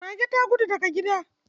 Mage ta gudu daga gida.